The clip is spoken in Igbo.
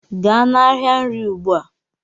gaa n'ahịa nri ugbua